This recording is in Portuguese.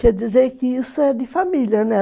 Quer dizer que isso é de família, né?